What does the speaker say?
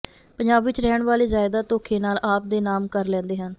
ਪੰਜਾਬ ਵਿੱਚ ਰਹਿਣ ਵਾਲੇ ਜਾਇਦਾਦ ਧੋਖੇ ਨਾਲ ਆਪ ਦੇ ਨਾਮ ਕਰ ਲੈਂਦੇ ਹਨ